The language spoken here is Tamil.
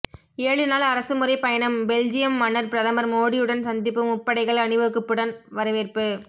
ஏழு நாள் அரசுமுறை பயணம் பெல்ஜியம் மன்னர் பிரதமர் மோடியுடன் சந்திப்பு முப்படைகள் அணிவகுப்புடன் வரவேற்பு